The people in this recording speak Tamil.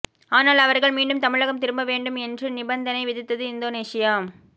ஆனால் அவர்கள் மீண்டும் தமிழகம் திரும்ப வேண்டும் என்று நிபந்தனை விதித்தது இந்தோனேசியா